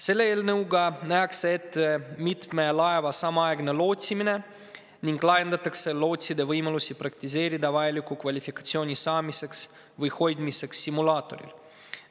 Selle eelnõuga nähakse ette mitme laeva samaaegne lootsimine ning laiendatakse lootside võimalusi praktiseerida vajaliku kvalifikatsiooni saamiseks või hoidmiseks simulaatoril.